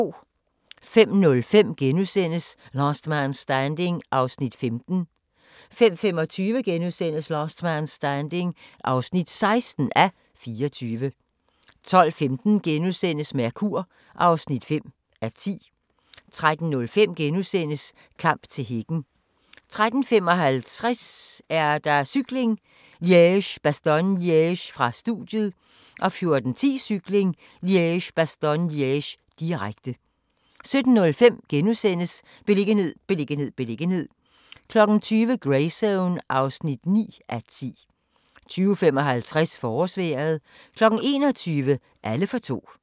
05:05: Last Man Standing (15:24)* 05:25: Last Man Standing (16:24)* 12:15: Mercur (5:10)* 13:05: Kamp til hækken * 13:55: Cykling: Liège-Bastogne-Liège - studiet 14:10: Cykling: Liège-Bastogne-Liège, direkte 17:05: Beliggenhed, beliggenhed, beliggenhed * 20:00: Greyzone (9:10) 20:55: Forårsvejret 21:00: Alle for to